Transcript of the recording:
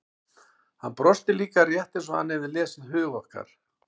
Hann brosti líka, rétt eins og hann hefði lesið hug okkar.